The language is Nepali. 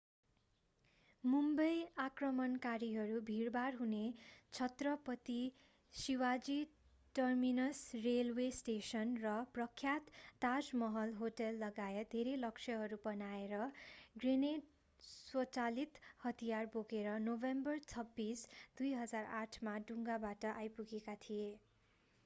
मुम्बई आक्रमणकारीहरू भिडभाड हुने Chhatrapati Shivaji terminus railway station र प्रख्यात ताजमहल होटललगायत धेरै लक्ष्यहरू बनाएर ग्रेनेड स्वचालित हतियार बोकेर नोभेम्बर 26 2008 मा डुङ्गाबाट आइपुगेका थिए